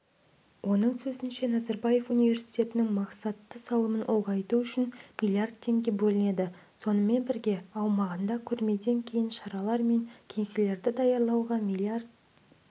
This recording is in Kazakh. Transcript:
оның сөзінше назарбаев университетінің мақсатты салымын ұлғайту үшін миллиард теңге бөлінеді сонымен бірге аумағында көрмеден кейінгі шаралар мен кеңселерді даярлауға миллиард